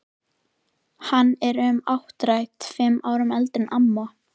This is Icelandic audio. Hann er um áttrætt, fimm árum eldri en amma.